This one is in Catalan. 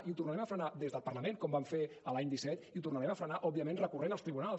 i ho tornarem a frenar des del parlament com vam fer l’any disset i ho tornarem a frenar òbviament recorrent als tribunals